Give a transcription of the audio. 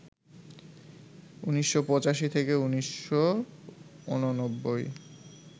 ১৯৮৫ থেকে ১৯৮৯